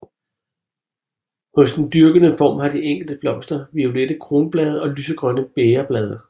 Hos den dyrkede form har de enkelte blomster violette kronblade og lysegrønne bægerblade